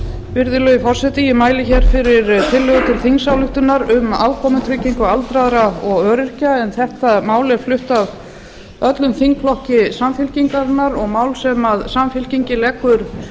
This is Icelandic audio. virðulegi forseti ég mæli fyrir tillögu til þingsályktunar um afkomutryggingu aldraðra og öryrkja mál þetta er flutt af öllum þingflokki samfylkingarinnar og er mál sem samfylkingin leggur